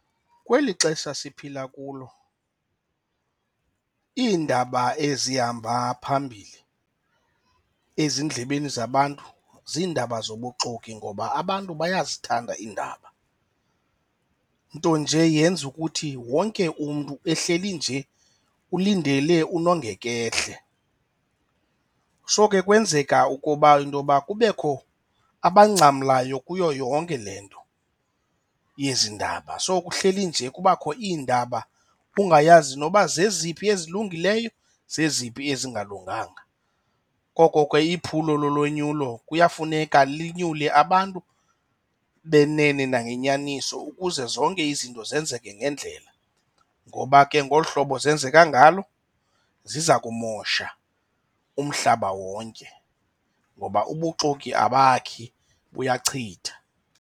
Kweli xesha siphila kulo iindaba ezihamba phambili ezindlebeni zabantu ziindaba zobuxoki ngoba abantu bayazithanda iindaba, nto nje yenza ukuthi wonke umntu ehleli nje ulindele unongekehle. So ke kwenzeka ukoba intoba kubekho abangcamileyo kuyo yonke le nto yezi ndaba. So kuhleli nje kubakho iindaba, ungayazi noba zeziphi ezilungileyo, zeziphi ezingalunganga. Koko ke iphulo lulonyulo kuyafuneka linyukile abantu benene nangenyaniso ukuze zonke izinto zenzeke ngendlela ngoba ke ngolu hlobo zenzeka ngalo ziza kumosha umhlaba wonke ngoba ubuxoki abakhi, buyachitha.